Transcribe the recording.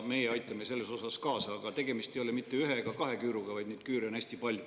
Meie aitame kaasa, aga tegemist ei ole mitte ühe ega kahe küüruga, vaid neid küüre on hästi palju.